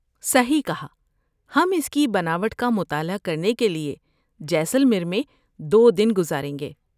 صحیح کہا! ہم اس کی بناوٹ کا مطالعہ کرنے کے لیے جیسلمیر میں دو دن گزاریں گے۔